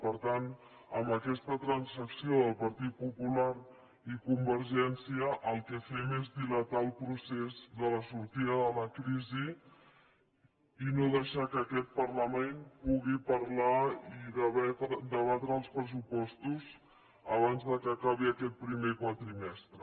per tant amb aquesta transacció del partit popular i convergència el que fem és dilatar el procés de la sortida de la crisi i no deixar que aquest parlament pugui parlar i debatre els pressupostos abans que acabi aquest primer quadrimestre